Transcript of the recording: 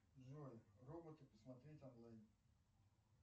джой роботы посмотреть онлайн